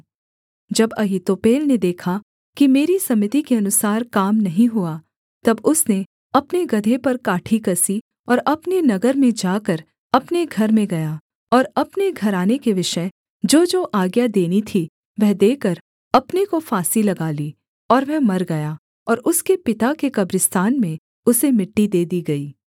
जब अहीतोपेल ने देखा कि मेरी सम्मति के अनुसार काम नहीं हुआ तब उसने अपने गदहे पर काठी कसी और अपने नगर में जाकर अपने घर में गया और अपने घराने के विषय जोजो आज्ञा देनी थी वह देकर अपने को फांसी लगा ली और वह मर गया और उसके पिता के कब्रिस्तान में उसे मिट्टी दे दी गई